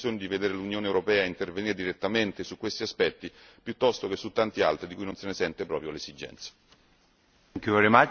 Penso che i cittadini abbiano più bisogno di vedere l'Unione europea intervenire direttamente su questi aspetti, piuttosto che su tanti altri di cui non si sente proprio l'esigenza.